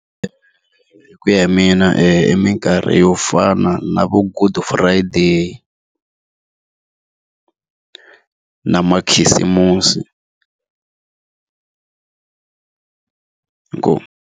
ku ya hi mina i minkarhi yo fana na vo Good Friday na makhisimusi inkomu.